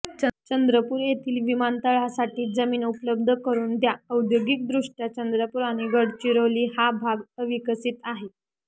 चंद्रपूर येथील विमानतळासाठी जमीन उपलब्ध करून द्या औद्योगिकदृष्टया चंद्रपूर आणि गडचिरोली हा भाग अविकसित आहे